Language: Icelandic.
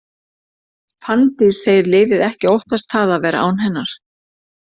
Fanndís segir liðið ekki óttast það að vera án hennar.